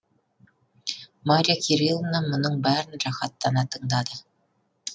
марья кириловна мұның бәрін рақаттана тыңдады